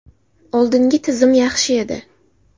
Oldingi tizim yaxshi edi.